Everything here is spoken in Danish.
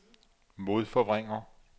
modforvrænger